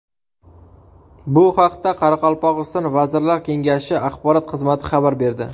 Bu haqda Qoraqalpog‘iston Vazirlar Kengashi axborot xizmati xabar berdi .